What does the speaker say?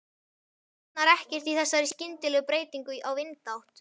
Botnar ekkert í þessari skyndilegu breytingu á vindátt.